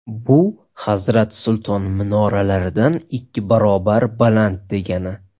Bu Hazrat Sulton minoralaridan ikki barobar baland degani.